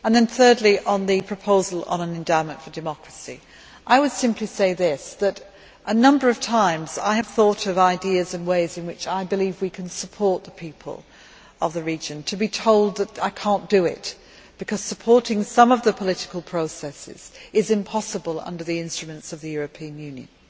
Third, with regard to a proposal for an endowment for democracy a number of times I have thought of ideas and ways in which I believe we can support the people of the region only to be told that I cannot do it, because supporting some of the political processes is impossible under the instruments of the European Union.